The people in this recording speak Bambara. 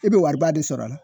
I be wariba de sɔrɔ a la